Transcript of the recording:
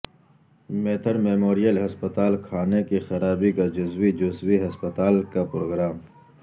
میتھر memorial ہسپتال کھانے کی خرابی کا جزوی جزوی ہسپتال کا پروگرام